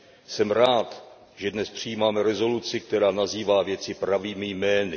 Jsem rád, že dnes přijímáme rezoluci, která nazývá věci pravými jmény.